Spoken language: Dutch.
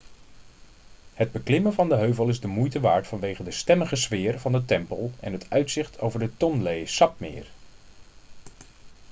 het beklimmen van de heuvel is de moeite waard vanwege de stemmige sfeer van de tempel en het uitzicht over het tonlé sapmeer